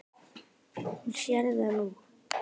Hún sér það nú.